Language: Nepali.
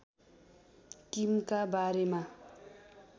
किमका बारेमा